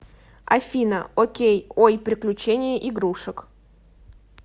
афина окей ой приключения игрушек